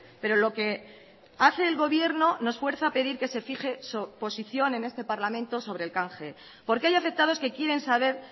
pero lo que hace el gobierno nos fuerza a pedir que se fije su posición en este parlamento sobre el canje porque hay afectados que quieren saber